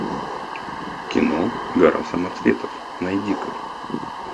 кино гора самоцветов найди ка